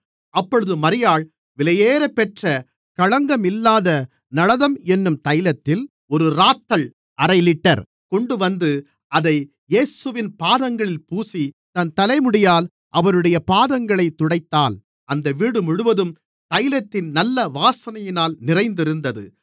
அப்பொழுது மரியாள் விலையேறப்பெற்ற களங்கமில்லாத நளதம் என்னும் தைலத்தில் ஒரு இராத்தல் அரை லிட்டர் கொண்டுவந்து அதை இயேசுவின் பாதங்களில் பூசி தன் தலைமுடியால் அவருடைய பாதங்களைத் துடைத்தாள் அந்த வீடு முழுவதும் தைலத்தின் நல்ல வாசனையினால் நிறைந்திருந்தது